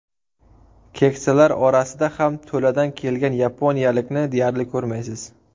Keksalar orasida ham to‘ladan kelgan yaponiyalikni deyarli ko‘rmaysiz.